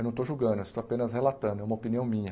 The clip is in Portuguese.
Eu não estou julgando, estou apenas relatando, é uma opinião minha.